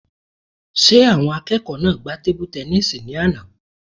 Ṣé àwọn akẹ́kọ̀ọ́ náà gbá tebu-tẹnísì ní àná?